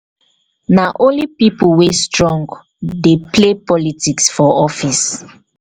na only pipo wey strong dey play politics for office.